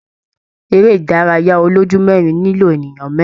Ere idaraya oloju merin nilo eniyan merin.